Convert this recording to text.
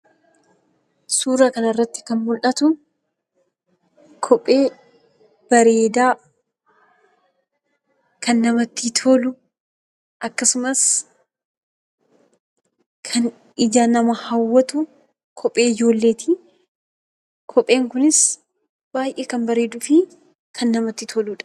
Suuraa kanarratti kan mul'atu kophee bareedaa, kan namatti tolu, akkasumas kan ija nama hawwatu kophee ijoolleeti. Kopheen kunis baay'ee kan bareeduu fi baay'ee namatti toludha.